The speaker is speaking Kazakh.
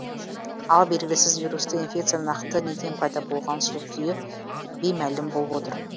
ал белгісіз вирусты инфекцияның нақты неден пайда болғаны сол күйі беймәлім болып отыр